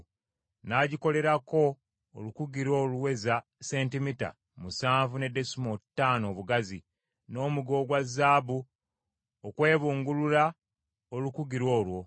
N’agikolerako olukugiro oluweza sentimita musanvu ne desimoolo ttaano obugazi, n’omuge ogwa zaabu okwebungulula olukugiro olwo.